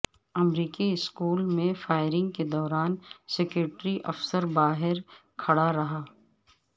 امریکی اسکول میں فائرنگ کے دوران سیکورٹی افسر باہر کھڑا رہا